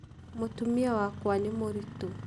Mũtumia wakwa nĩ mũritũ.